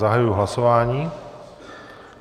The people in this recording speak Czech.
Zahajuji hlasování.